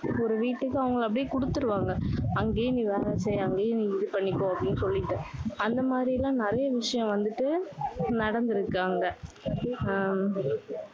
ஆஹ் ஒரு வீட்டுக்கு அவங்களை அப்படியே கொடுத்துடுவாங்க. அங்கேயே நீ வேலை செய். அங்கேயே நீ இது பண்ணிக்கோ அப்படின்னு சொல்லிட்டு, அந்த மாதிரி எல்லாம் நிறைய விஷயம் வந்துட்டு நடந்திருக்கு அங்க. அஹ்